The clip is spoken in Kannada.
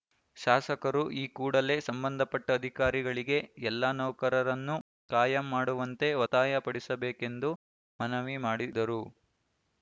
ಶಾಸಕರು ಈ ಕೂಡಲೇ ಸಂಬಂಧಪಟ್ಟಅಧಿಕಾರಿಗಳಿಗೆ ಎಲ್ಲಾ ನೌಕರರನ್ನು ಕಾಯಂ ಮಾಡುವಂತೆ ಒತ್ತಾಯ ಪಡಿಸಬೇಕೆಂದು ಮನವಿ ಮಾಡಿದರು